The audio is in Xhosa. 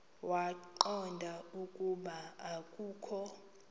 waqonda ukuba akokho